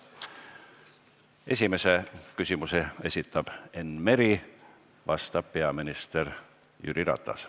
Esimese küsimuse esitab Enn Meri, vastab peaminister Jüri Ratas.